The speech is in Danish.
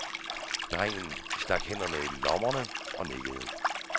Drengen stak hænderne i lommerne og nikkede.